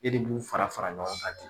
E de b'u fara fara ɲɔgɔn kan ten